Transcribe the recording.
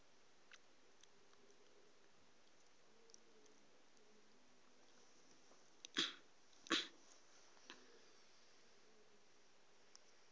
tša thuto le tlhahlo tšeo